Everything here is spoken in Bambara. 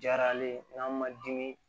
Diyara ale ye n'an ma dimi